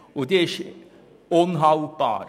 Diese ist unhaltbar.